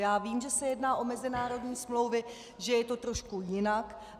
Já vím, že se jedná o mezinárodní smlouvy, že je to trošku jinak.